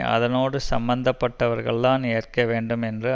அதனோடு சம்பந்தப்பட்டவர்கள் தான் ஏற்க வேண்டும் என்று